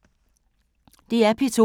DR P2